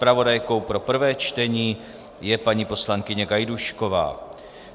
Zpravodajkou pro prvé čtení je paní poslankyně Gajdůšková.